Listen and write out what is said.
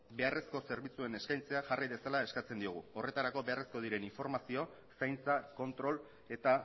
beharrezko zerbitzuen eskaintzea jarri dezala eskatzen diogu horretarako beharrezko diren informazio zaintza kontrol eta